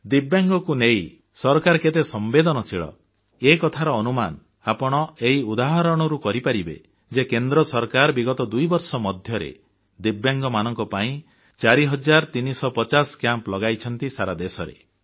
ଦିବ୍ୟାଙ୍ଗଙ୍କୁ ନେଇ ସରକାର କେତେ ସମ୍ବେଦନଶୀଳ ଏକଥାର ଅନୁମାନ ଆପଣ ଏହି ଉଦାହରଣରୁ କରିପାରିବେ ଯେ କେନ୍ଦ୍ର ସରକାର ବିଗତ ଦୁଇବର୍ଷ ମଧ୍ୟରେ ଦିବ୍ୟାଙ୍ଗମାନଙ୍କ ପାଇଁ 4350 ଶିବିର ଆୟୋଜନ କରିଛନ୍ତି ସାରା ଦେଶରେ